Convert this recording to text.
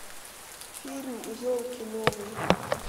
фильм елки новые